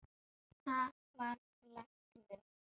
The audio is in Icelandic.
Hann varð læknir.